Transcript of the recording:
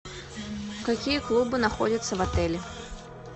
какие клубы находятся в отеле